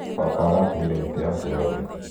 baba aratemire mĩtĩ yaake yoothe